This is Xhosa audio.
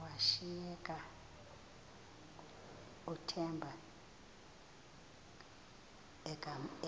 washiyeka uthemba